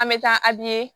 An bɛ taa